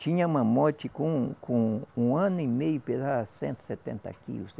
Tinha mamote com com um ano e meio, pesava cento e setenta quilos.